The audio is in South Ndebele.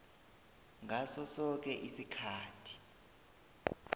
ngaso soke isikhathi